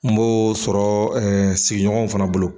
N b'o sɔrɔ sigiɲɔgɔn fana bolo.